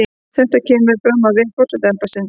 Kemur þetta fram á vef forsetaembættisins